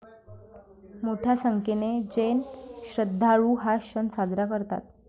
मोठ्या संख्येने जैन श्रद्धाळु हा सण साजरा करतात.